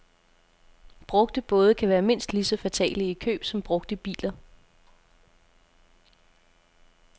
Brugte både kan være mindst lige så fatale i køb som brugte biler.